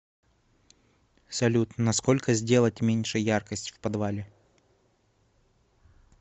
салют на сколько сделать меньше яркость в подвале